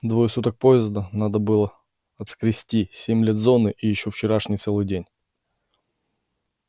двое суток поезда надо было отскрести семь лет зоны и ещё вчерашний целый день